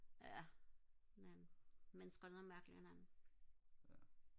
ja men mennesker er nogle mærkelige nogle